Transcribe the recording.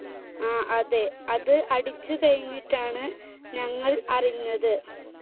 ആ, അതെ. അത് അടിച്ചുകഴിഞ്ഞിട്ടാണ് ഞങ്ങൾ അറിഞ്ഞത്.